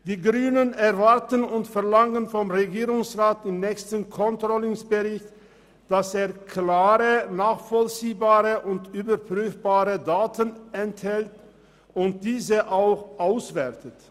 Die Grünen erwarten und verlangen vom Regierungsrat, dass der nächste Controlling-Bericht klare, nachvollziehbare und überprüfbare Daten enthält und diese auch auswertet.